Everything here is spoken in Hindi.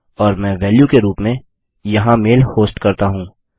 और मैं वेल्यू के रूप में यहाँ मेल होस्ट करता हूँ